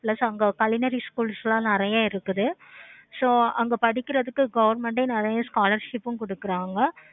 plus அங்க schools எல்லாம் நெறைய இருக்குது. so அங்க படிக்குறதுக்கு government நெறைய scholarships உம் கொடுக்குறாங்க.